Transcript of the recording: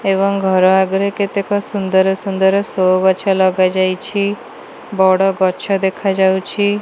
ଏବଂ ଘର ଆଗରେ କେତେକ ସୁନ୍ଦର ସୁନ୍ଦର ସୋ ଗଛ ଲଗାଯାଇଛି। ବଡ଼ ଗଛ ଦେଖାଯାଉଛି।